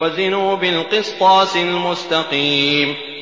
وَزِنُوا بِالْقِسْطَاسِ الْمُسْتَقِيمِ